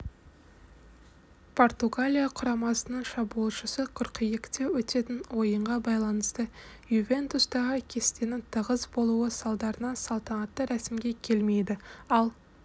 португалия құрамасының шабуылшысы қыркүйекте өтетін ойынға байланысты ювентустағы кестесінің тығыз болуы салдарынан салтанатты рәсімге келмейді ал